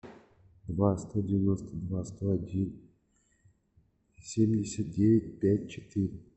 два сто девяносто два сто один семьдесят девять пять четыре